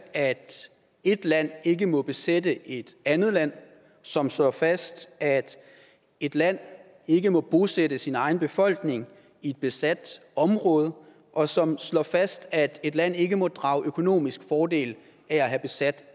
at et land ikke må besætte et andet land som slår fast at et land ikke må bosætte sin egen befolkning i et besat område og som slår fast at et land ikke må drage økonomisk fordel af at have besat